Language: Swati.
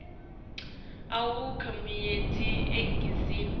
awukho munyenti eningizimu